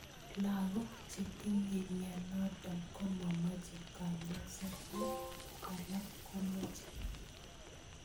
Lakok chetinye mnyenotok komomache kanyoiset ak alak komeche.